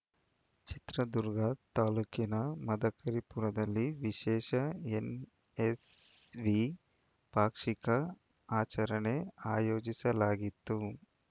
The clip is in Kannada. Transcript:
ಚಿತ್ರದುರ್ಗ ತಾಲೂಕಿನ ಮದಕರಿಪುರದಲ್ಲಿ ವಿಶೇಷ ಎನ್‌ಎಸ್‌ವಿ ಪಾಕ್ಷಿಕ ಆಚರಣೆ ಆಯೋಜಿಸಲಾಗಿತ್ತು